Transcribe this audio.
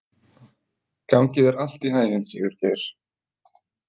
Gangi þér allt í haginn, Sigurgeir.